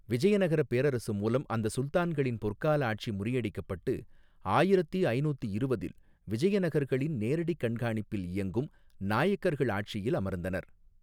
விஜயநகரப் பேரரசு மூலம் அந்த சுல்தான்களின் பொற்கால ஆட்சி முறியடிக்கப்பட்டு ஆயிரத்தி ஐநூத்தி இருவதில் விஜயநகர்களின் நேரடிக் கண்காணிப்பில் இயங்கும் நாயக்கர்கள் ஆட்சியில் அமர்ந்தனர்.